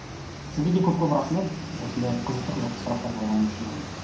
сізге де көп көп рахмет осындай қызықты қызықты сұрақтар қойғаныңыз үшін айнель